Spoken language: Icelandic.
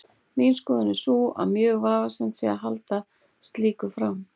Mín skoðun er sú að mjög vafasamt sé að halda slíku fram.